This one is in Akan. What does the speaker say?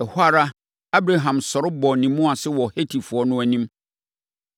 Ɛhɔ ara, Abraham sɔre bɔɔ ne mu ase wɔ Hetifoɔ no anim,